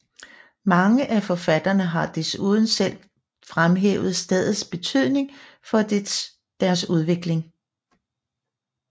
Mange af forfatterne har desuden selv fremhævet stedets betydning for deres udvikling